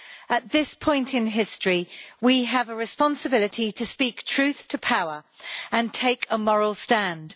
At this point in history, we have a responsibility to speak truth to power and take a moral stand.